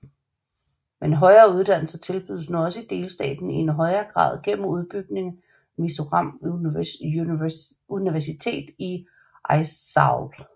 Men højere uddannelser tilbydes nu også i delstaten i en højere grad gennem udbygning af Mizoram Universitet i Aizawl